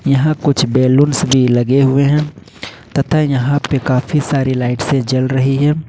यहां कुछ बलूंस भी लगे हुए हैं तथा यहां पर काफी सारी लाइट्से जल रही है।